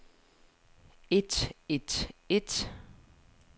et et et